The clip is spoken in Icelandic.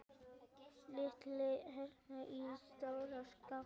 Setjið hveitið í stóra skál.